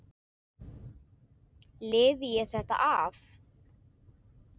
Lifi ég þetta af?